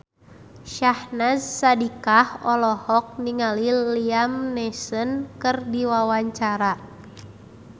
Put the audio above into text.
Syahnaz Sadiqah olohok ningali Liam Neeson keur diwawancara